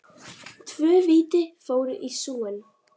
Tvö víti fóru í súginn.